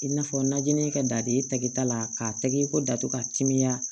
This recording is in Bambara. I n'a fɔ najinin kɛ daden tɛkita la k'a tɛgɛ ko datugu ka timiya